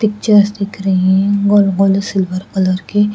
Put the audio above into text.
pictures दिख रही है गोल गोल सिल्वर कलर की--